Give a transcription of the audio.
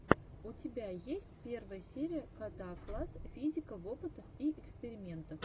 у тебя есть первая серия гетаакласс физика в опытах и экспериментах